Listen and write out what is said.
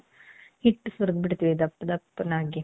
ಹಿಟ್ಟು ಸುರದ್ಬಿಡ್ತಿವಿ ದಪ್ಪ ದಪ್ನಗೆ .